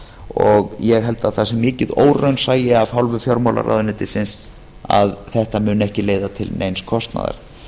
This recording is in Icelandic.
og ég held að það sé mikið óraunsæi af hálfu fjármálaráðuneytisins að þetta muni ekki leiða til neins kostnaðar